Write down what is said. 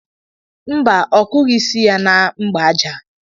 Mba, ọ kụghị isi ya na mgbaja.